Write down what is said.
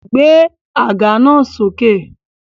Gbé àga náà sókè!